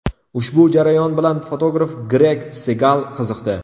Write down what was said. Ushbu jarayon bilan fotograf Gregg Segal qiziqdi.